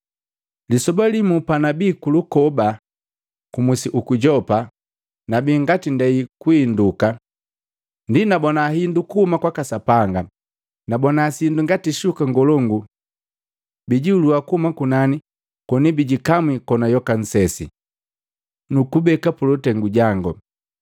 “Lisoba limu panabi ndenda kuloba ku musi guku Yopa, nabi ngati ndei kuinduka ndi nabona hindu kuhuma kwaka Sapanga, nabona sindu ngati shuka ngolongu bikijihulua kuhuma kunani koni bijikamwi kona yoka nsesi, nukubeka pulutengu jangu.